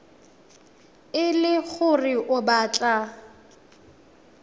e le gore o batla